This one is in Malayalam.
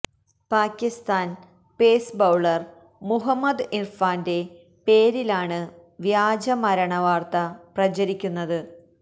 പാകിസ്താന് പേസ് ബൌളര് മുഹമ്മദ് ഇര്ഫാന്റെ പേരിലാണ് വ്യാജ മരണ വാര്ത്ത പ്രചരിക്കുന്നത്